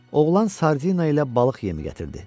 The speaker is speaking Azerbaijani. Oğlan sardina ilə balıq yemi gətirdi.